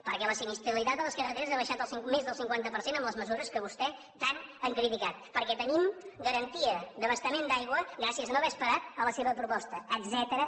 perquè la sinistralitat a les carreteres ha baixat més del cinquanta per cent amb les mesures que vostès tant han criticat perquè tenim garantia d’abastament d’aigua gràcies a no haver esperat la seva proposta etcètera